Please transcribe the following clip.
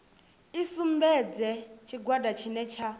i sumbedze tshigwada tshine tsha